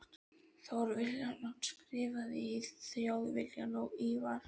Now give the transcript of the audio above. Thor Vilhjálmsson skrifar í Þjóðviljann og Ívar